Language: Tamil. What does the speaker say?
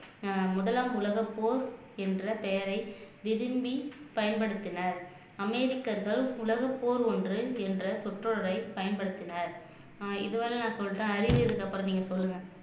ஆஹ் முதலாம் உலகப்போர் என்ற பெயரை விரும்பி பயன்படுத்தினர் அமெரிக்கர்கள் உலகப்போர் ஒன்று என்ற சுற்றளவை பயன்படுத்தினார் ஆஹ் இதுவரை நான் சொல்லிட்டேன் அறிவு இதுக்கப்புறம் நீங்க சொல்லுங்க